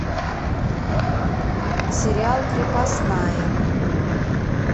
сериал крепостная